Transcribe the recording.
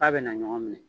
F'a bɛna ɲɔgɔn minɛ